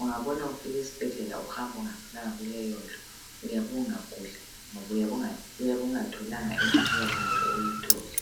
ungabona ufika esibhedlela uhamba ungafikanga kuleyondlu uyabe ungaguli ngoba uyabe ungatholanga imithi okuyabe kumele uyithole